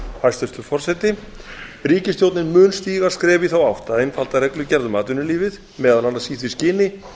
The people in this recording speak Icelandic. hæstvirtur forseti ríkisstjórnin mun stíga skref í þá átt að einfalda reglugerð um atvinnulífið meðal annars í því skyni